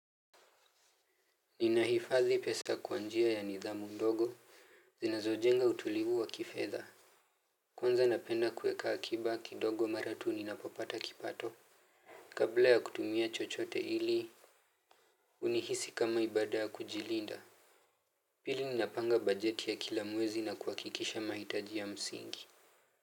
Ninahifadhi pesa kwa njia ya nidhamu ndogo zinazojenga utulivu wa kifedha. Kwanza napenda kueka akiba kidogo mara tu ninapopata kipato. Kabla ya kutumia chochote ili unihisi kama ibada ya kujilinda. Pili ninapanga bajeti ya kila mwezi na kuhakikisha mahitaji ya msingi.